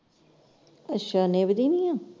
ਅੱਛਾ ਨਿੱਭਦੀ ਨਈਂ ਹੈ?